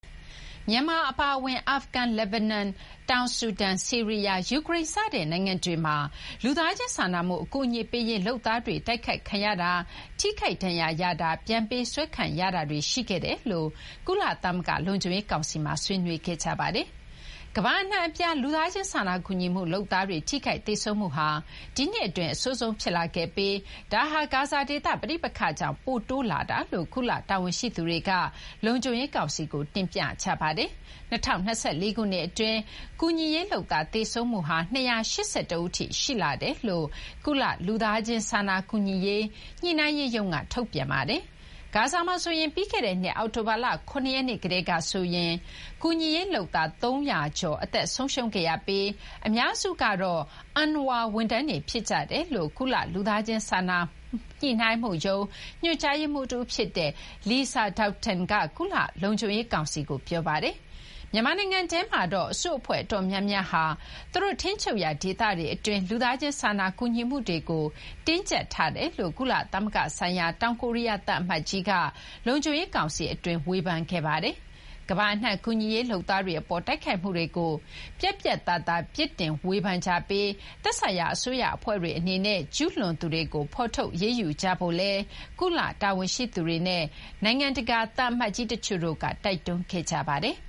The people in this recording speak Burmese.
မြန်မာအပါအဝင် အာဖဂန်၊ လက်ဘနွန်၊ တောင်ဆူဒန်၊ ဆီးရီယား၊ ယူကရိန်း စတဲ့ နိုင်ငံတွေမှာ လူသားချင်းစာနာမှုအကူအညီပေးရေးလုပ်သားတွေ အတိုက်ခိုက်ခံရတာ ထိခိုက်ဒဏ်ရာရတာ ပြန်ပေးဆွဲခံရတာတွေ ရှိခဲ့တယ်လို့ ကုလသမဂ္ဂလုံခြုံရေးကောင်စီမှာ ဆွေးနွေးခဲ့ကြပါတယ်။ ကမ္ဘာ့အနှံ့အပြား လူသားချင်းစာနာကူညီမှုလုပ်သားတွေ ထိခိုက်သေဆုံးမှုဟာ ဒီနှစ်အတွင်း အဆိုးဆုံးဖြစ်လာခဲ့ပြီး၊ ဒါဟာ ဂါဇာဒေသပဋိပက္ခကြောင့် ပိုတိုးများလာတာလို့ ကုလတာဝန်ရှိသူတွေက လုံခြုံရေးကောင်စီကို တင်ပြခဲ့ကြပါတယ်။ ၂၀၂၄ ခုနှစ်အတွင်း ကူညီရေးလုပ်သားသေဆုံးမှုဟာ ၂၈၁ ဦးအထိ ရှိလာတယ်လို့ ကုလ လူသားချင်းစာနာကူညီရေးညှိုနှိုင်းရေးရုံးက ထုတ်ပြန်ခဲ့ပါတယ်။ ဂါဇာမှာဆိုရင် ပြီးခဲ့တဲ့နှစ် အောက်တိုဘာ ၇ ရက်ကတည်းကဆိုရရင် ကူညီရေးလုပ်သား ၃၀၀ ကျော် အသက်ဆုံးရှုံးခဲ့ရပြီး အများစုကတော့ UNRWA ဝန်ထမ်းတွေဖြစ်ကြတယ်လို့ ကုလ လူသားချင်းစာနာညှိုနှိုင်းမှုရုံး ညွှန်ကြားရေးမှုးတဦးဖြစ်တဲ့ Lisa Doughten က ကုလ လုံခြုံရေးကောင်စီကို ပြောပါတယ်။ မြန်မာနိုင်ငံထဲမှာတော့ အစုအဖွဲ့အတော်များများဟာ သူတို့ ထိန်းချုပ်ရာဒေသတွေအတွင်း လူသားချင်းစာနာကူညီမှုတွေကို တင်းကြပ်ထားတယ်လို့ ကုလသမဂ္ဂဆိုင်ရာ တောင်ကိုရီယားသံအမတ်ကြီးက လုံခြုံရေးကောင်စီအတွင်း ဝေဖန်ခဲ့ပါတယ်။ ကမ္ဘာအနှံ ကူညီရေးလုပ်သားတွေအပေါ် တိုက်ခိုက်မှုတွေကို ပြတ်ပြတ်သားသားဝေဖန်ပြစ်တင်ကြပြီး၊ သက်ဆိုင်ရာ အစိုးရအဖွဲ့တွေအနေနဲ့ ကျူးလွန်သူတွေကို ဖော်ထုတ်အရေးယူကြဖို့လည်း ကုလ တာဝန်ရှိသူတွေနဲ့ နိုင်ငံသံအမတ်ကြီးတချို့က တိုက်တွန်းခဲ့ကြပါတယ်။